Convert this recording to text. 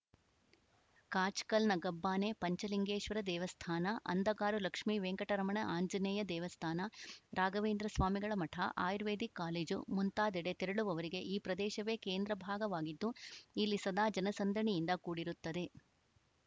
ಕಾಚ್‌ಕಲ್‌ನ ಗಬ್ಬಾನೆ ಪಂಚಲಿಂಗೇಶ್ವರ ದೇವಸ್ಥಾನ ಅಂದಗಾರು ಲಕ್ಷ್ಮೀವೆಂಕಟರಮಣ ಆಂಜನೇಯ ದೇವಸ್ಥಾನ ರಾಘವೇಂದ್ರಸ್ವಾಮಿಗಳ ಮಠ ಆಯುರ್ವೇದಿಕ್‌ ಕಾಲೇಜು ಮುಂತಾದೆಡೆ ತೆರಳುವವರಿಗೆ ಈ ಪ್ರದೇಶವೇ ಕೇಂದ್ರಭಾಗವಾಗಿದ್ದು ಇಲ್ಲಿ ಸದಾ ಜನಸಂದಣಿಯಿಂದ ಕೂಡಿರುತ್ತದೆ